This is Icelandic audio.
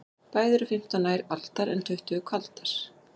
Betri eru fimmtán ær aldar en tuttugu kvaldar.